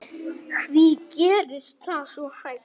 Hví gerist það svo hægt?